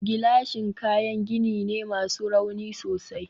gilashin kayan gini ne masu rauni sosai